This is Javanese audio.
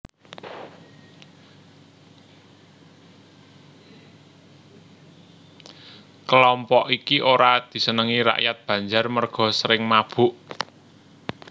Kelompok iki ora disenengi rakyat Banjar merga sering mabok